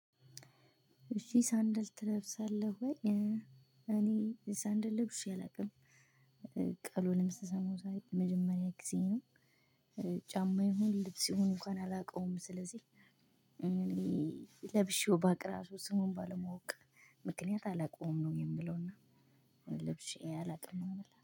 እሺ ሳንድል ትለብሳለህ ወይ? እኔ ሳንድል ልብሼ አላውቅም ቀሉንም ስሰማው ዛሬ የመጀመሪያ ጊዜ ነው። ጫማ ይሁን ልብስ ይሁን እንኳን አላውቀውም ስለዚህ። ለብሼው ባውቅ እራሱ ስሙን ባለመወቅ ምክንያት አላውቀውም ነው የምለው። ለብሼ አላውቅም ነው የምልህ